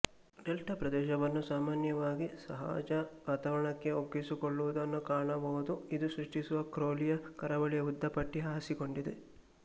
delta ಪ್ರದೇಶವನ್ನು ಸಾಮಾನ್ಯವಾಗಿ ಅಸಹಜ ವಾತಾವರಣಕ್ಕೆ ಒಗ್ಗಿಕೊಳ್ಳುವುದನ್ನು ಕಾಣಬಹುದುಇದು ಸೃಷ್ಟಿಸುವ ಕ್ರೌಲಿಯ ಕರಾವಳಿಯ ಉದ್ದ ಪಟ್ಟಿ ಹಾಸಿಕೊಂಡಿದೆ